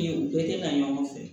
U bɛɛ tɛ na ɲɔgɔn fɛ